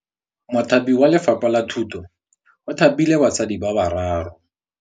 Mothapi wa Lefapha la Thutô o thapile basadi ba ba raro.